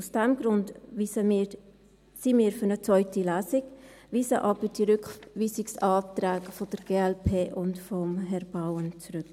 Aus diesem Grund sind wir für eine zweite Lesung, weisen aber die Rückweisungsanträge der glp und von Herrn Bauen zurück.